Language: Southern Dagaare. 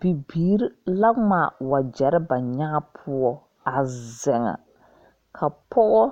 Bibiiri la ngmaa wɔjeri ba nyaã puo a zeng ka poɔ